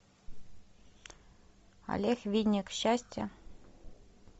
олег винник счастье